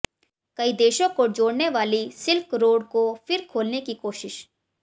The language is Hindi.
कई देशों को जोड़ने वाली सिल्क रोड को फिर खोलने की कोशिश